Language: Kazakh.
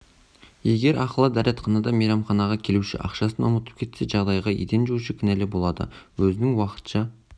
егер ақылы дәретханада мейрамханаға келуші ақшасын ұмытып кетсе жағдайға еден жуушы кінәлі болады өзінің уақытша